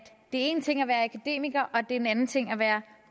en ting at være akademiker og at det er en anden ting at være